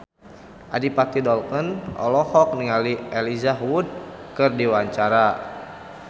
Adipati Dolken olohok ningali Elijah Wood keur diwawancara